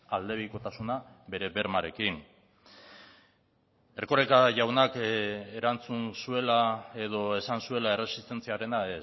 aldebikotasuna bere bermearekin erkoreka jaunak erantzun zuela edo esan zuela erresistentziarena